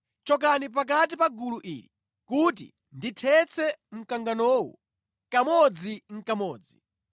“Chokani pakati pa gulu ili kuti ndithetse mkanganowu kamodzinʼkamodzi.”